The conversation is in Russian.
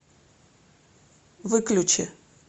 выключи